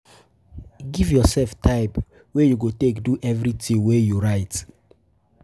Give yourself time wey you go take do everything wey you write